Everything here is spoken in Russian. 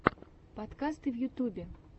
подкасты в ютюбе